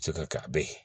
Se ka kɛ a bɛ ye